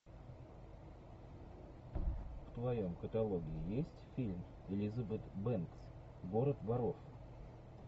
в твоем каталоге есть фильм элизабет бэнкс город воров